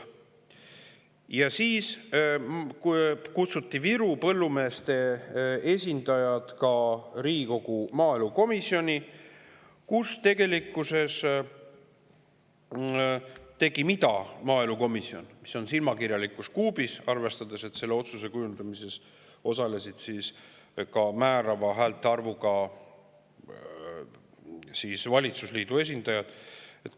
Siis kutsuti Virumaa põllumeeste esindajad Riigikogu maaelukomisjoni, kus maaelukomisjon tegi midagi, mis on silmakirjalikkus kuubis, arvestades, et selle otsuse kujundamises osalesid määrava häälte arvuga valitsusliidu esindajad.